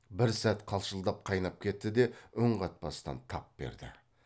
бір сәт қалшылдап қайнап кетті де үн қатпастан тап берді